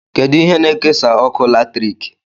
Kedụ ihe na-ekesa ọkụ latriki?